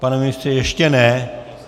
Pane ministře, ještě ne.